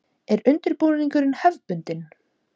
Er undirbúningur hefðbundin?